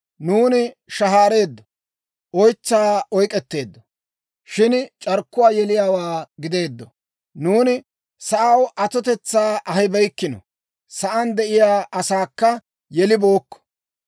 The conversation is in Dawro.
Nuuni shahaareeddo; oytsaa oyk'k'eteeddo; Shin c'arkkuwaa yeliyaawaa gideeddo. Nuuni sa'aw atotetsaa ahibeykko; sa'aan de'iyaa asaakka yelibookko.